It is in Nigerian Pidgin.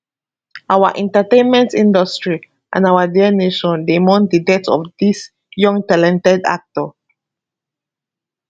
our entertainment industry and our dear nation dey mourn di death of dis young talented actor